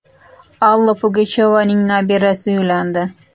Alla Pugachyovaning nabirasi uylandi.